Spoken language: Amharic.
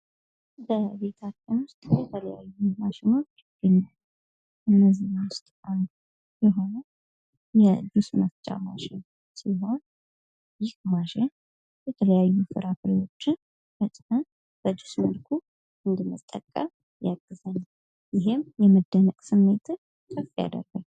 በቤታችን ውስጥ የተለያዩ ማሽኖች ይገኛሉ ከነዚህም ውስጥ አንዱ የሆነው የጁስ መፍቻ ማሽን ሲሆን ይህ የማሽን የተለያዩ ፍራፍሬዎችን ይፈጫል በጁስ መልኩ እንድንጠቀም ያግዛል ይህም የመደነቅ ስሜትን ከፍ ያደርጋል።